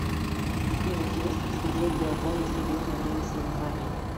сбер интересно ли смотреть биатлон на стадионе во время соревнований